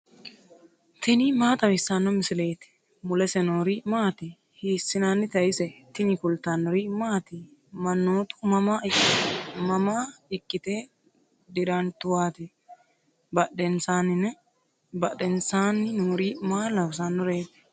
tini maa xawissanno misileeti ? mulese noori maati ? hiissinannite ise ? tini kultannori maati? Manoottu mama ikkitte dirantuwatti? badheennsaanni noori maa loosanoreti?